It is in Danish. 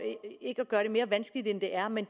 gøre det mere vanskeligt end det er men